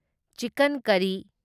chicken ꯀꯔꯔꯤ